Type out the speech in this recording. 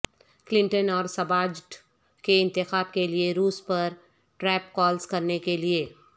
Clinton اور صباٹج کے انتخاب کے لئے روس پر ٹراپ کالز کرنے کے لئے